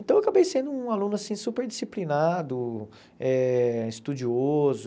Então, eu acabei sendo um aluno assim super disciplinado, eh estudioso...